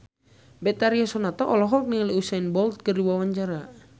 Betharia Sonata olohok ningali Usain Bolt keur diwawancara